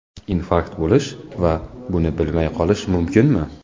Infarkt bo‘lish va buni bilmay qolish mumkinmi?